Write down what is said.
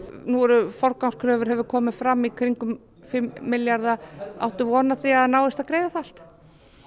nú eru forgangskröfur hefur komið fram í kringum fimm milljarðar áttu von á því að það náist að greiða það allt